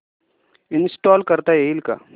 install करता येईल का